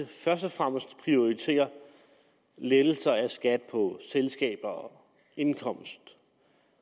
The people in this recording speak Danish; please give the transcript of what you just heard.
først og fremmest prioriterer lettelser af skat på selskaber og indkomst